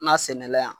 N ka sɛnɛla yan